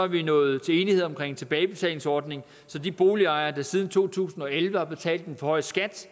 vi nået til enighed om en tilbagebetalingsordning så de boligejere der siden to tusind og elleve har betalt en for høj skat